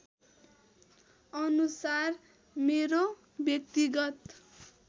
अनुसार मेरो व्यक्तिगत